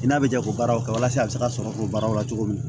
I n'a bɛ jɛ o baaraw kɛ walasa a bɛ se ka sɔrɔ o baaraw la cogo min na